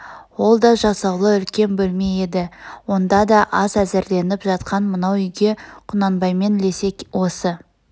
ол да жасаулы үлкен бөлме еді онда да ас әзірленіп жатқан мынау үйге құнанбаймен лесе осы